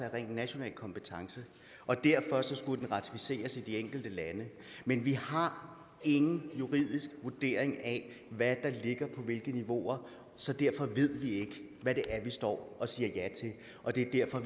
er ren national kompetence og derfor skulle den ratificeres i de enkelte lande men vi har ingen juridisk vurdering af hvad der ligger på hvilke niveauer så derfor ved vi ikke hvad det er vi står og siger ja til og det er